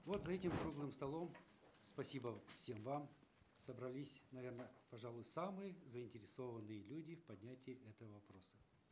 вот за этим круглым столом спасибо всем вам собрались наверно пожалуй самые заинтересованные люди в поднятии этого вопроса